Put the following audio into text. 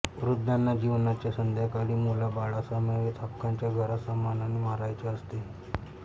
वृध्दांना जिवनाच्या संध्याकाळी मुलाबाळासमवेत हक्काच्या घरात सन्मानाने मरायचे असते